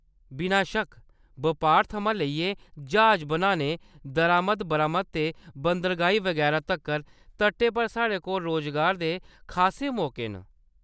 बिनाशक्क! बपार थमां लेइयै ज्हाज बनाने, दरामद-बरामद ते बंदरगाहीं बगैरा तक्कर, तटै पर साढ़े कोल रुजगार दे खासे मौके न।